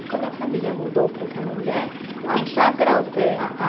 E quando a família mudou para o Canendé,